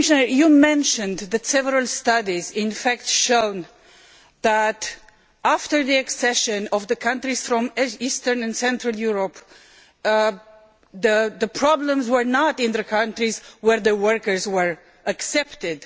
Commissioner, you mentioned that several studies have shown that after the accession of the countries from Eastern and Central Europe, the problems were not in the countries where the workers were accepted.